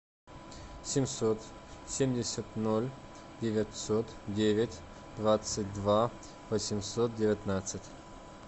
семьсот семьдесят ноль девятьсот девять двадцать два восемьсот девятнадцать